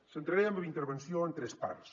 centraré la meva intervenció en tres parts